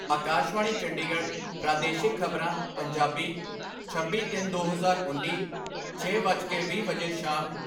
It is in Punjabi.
ਆਕਾਸ਼ਵਾਣੀ ਚੰਡੀਗੜ੍ਹ ਪ੍ਰਾਦੇਸ਼ਿਕ ਖਬਰਾਂ, ਪੰਜਾਬੀ ਛੱਬੀ ਤਿੰਨ ਦੋ ਹਜ਼ਾਰ ਉੱਨੀ, ਛੇ ਵੱਜ ਕੇ ਵੀਹ ਮਿੰਟ ਵਜੇ ਸ਼ਾਮ